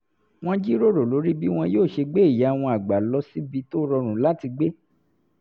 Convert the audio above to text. wọ́n jíròrò lórí bí wọn yóò ṣe gbé ìyá wọn àgbà lọ síbi tó rọrùn láti gbé